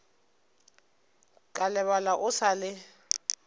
ka lebala o sa le